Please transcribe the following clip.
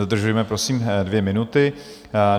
Dodržujme, prosím, dvě minuty.